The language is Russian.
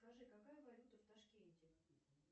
скажи какая валюта в ташкенте